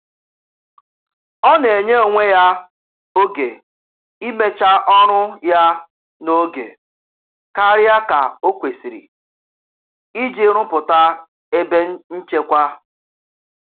Ọ na-enye onwe ya oge imecha ọrụ ya n'oge karịa ka o kwesịrị iji rụpụta ebe nchekwa.